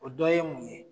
O dɔ ye mun ye